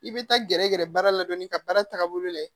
I bɛ taa gɛrɛ gɛrɛ baara la dɔɔni ka baara taabolo lajɛ